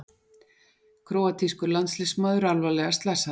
Króatískur landsliðsmaður alvarlega slasaður